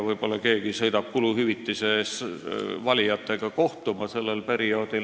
Võib-olla sõidab keegi sellel perioodil kuluhüvitise eest valijatega kohtuma.